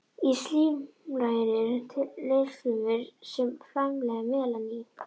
Í slímlaginu eru litfrumur sem framleiða melanín.